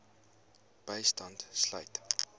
bystand sluit